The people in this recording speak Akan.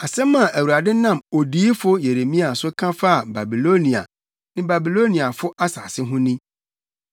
Asɛm a Awurade nam odiyifo Yeremia so ka faa Babilonia ne Babiloniafo asase ho ni: